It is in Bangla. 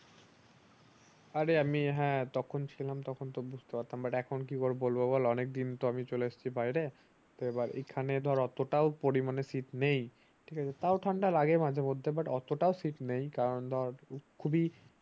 আরে আমি হ্যাঁ তখন তো আমি তখন ছিলাম তখন বুজতে পারতাম but এখন কি বলবো বল অনেক দিন তো আমি চলে আসছি বাইরে তো এখানে ধর অত তাও পরিমানে শীত নেই ঠিক আছে তাও ঠান্ডা লাগে মাঝে মধ্যে but অতটাও শীত নেই কারণ ধর খুবই